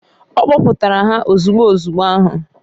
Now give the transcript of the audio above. O kpoputara ha ozugbu ozugbo ahu.